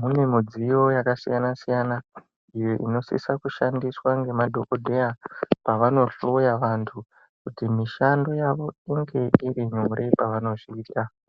mune midziyo yakasiyana siyana iyo unosisa kushandiswa ngemadhokoteya pavanohloya vantu kuti mishando yavo inenge iri nyore pavanohloya .